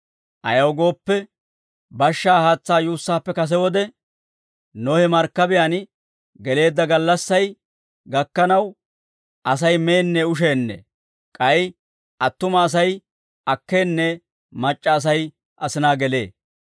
Ayaw gooppe, bashshaa haatsaa yuussaappe kase wode, Nohe markkabiyaan geleedda gallassay gakkanaw, Asay meenne usheenne; k'ay attuma Asay akkeenne mac'c'a Asay asinaa gelee.